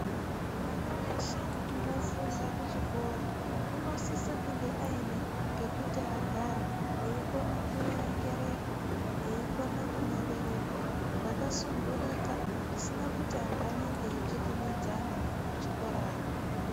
Mwana weshe unofunda kuchikora, unosisa kunge ayine pekuti agare, eyikona kuerengerepo, eyikona kunyorerepo zvakasundurika, zvisina kuti antu anenge achitsvikinyidzana kuchikorayo.